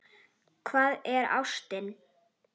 Hvað er ástin?